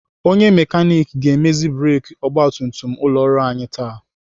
Onye mekanik ga-emezi breki ọgbatumtum ụlọ ọrụ anyị taa.